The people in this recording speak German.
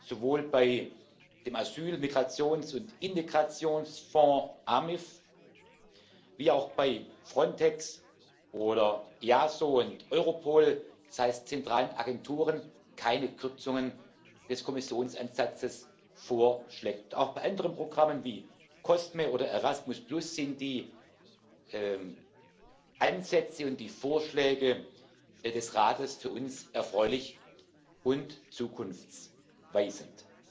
sowohl bei dem Asyl Migrations und Integrationsfonds AMIF wie auch bei Frontex oder EASO und Europol, das heißt bei zentralen Agenturen, keine Kürzungen des Kommissionsansatzes vorsieht. Auch bei anderen Programmen wie COSME oder Erasmus sind die Ansätze und die Vorschläge des Rates für uns erfreulich und zukunftsweisend.